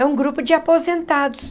É um grupo de aposentados.